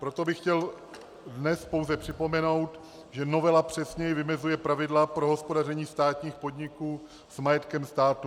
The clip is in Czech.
Proto bych chtěl dnes pouze připomenout, že novela přesněji vymezuje pravidla pro hospodaření státních podniků s majetkem státu.